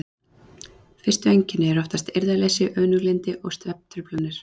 Fyrstu einkenni eru oftast eirðarleysi, önuglyndi og svefntruflanir.